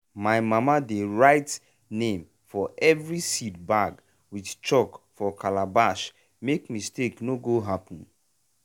my mama dey write name for every seed bag with chalk for calabash make mistake no go happen.